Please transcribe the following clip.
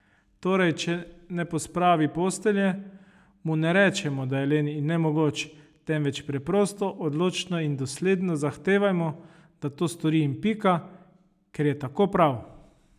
Torej, če ne pospravi postelje, mu ne rečemo, da je len in nemogoč, temveč preprosto odločno in dosledno zahtevajmo, da to stori in pika, ker je tako prav.